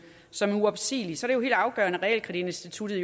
som er uopsigelige er det jo helt afgørende at realkreditinstituttet